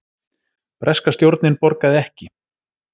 Breska stjórnin borgaði ekki